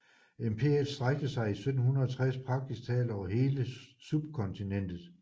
Imperiet strakte sig i 1760 praktisk talt over hele subkontinentet